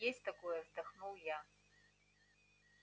есть такое вздохнул я